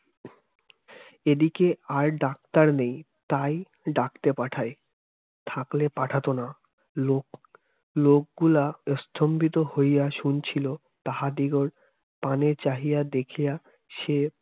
এদিকে আর doctor নেই তাই ডাকতে পাঠায় তাহলে পাঠাতো না লোক লোকগুলা স্তম্ভিত হইয়া শুনছিল তাহাদিগর পানে চাহিয়া দেখিয়া সে